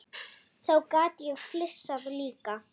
Þá gat ég flissað líka.